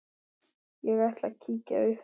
Ég ætla að kíkja upp